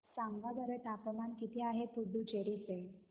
सांगा बरं तापमान किती आहे पुडुचेरी चे